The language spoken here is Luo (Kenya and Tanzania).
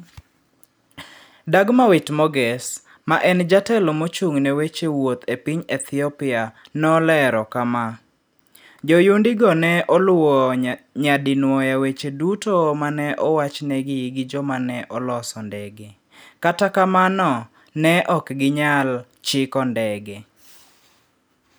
Dagmawit Moges, ma en Jatelo mochung'ne weche wuoth e piny Ethiopia, nolero kama: "Joyundigo ne oluwo nyadinwoya weche duto ma ne owachnegi gi joma ne oloso ndege, kata kamano, ne ok ginyal chiko ndege.